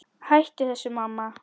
Hættu þessu, mamma!